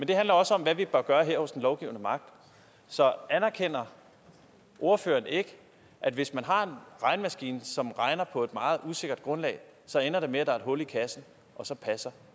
det handler også om hvad vi kan gøre her hos den lovgivende magt så anerkender ordføreren ikke at hvis man har en regnemaskine som regner på et meget usikkert grundlag så ender det med at der er et hul i kassen og så passer